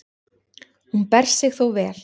Hún ber sig þó vel.